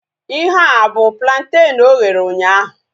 Ihea abu plantenu oghere ụnyaahụ?